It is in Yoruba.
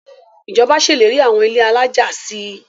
Ìjọba ṣèlérí àwọn ilé alájà si.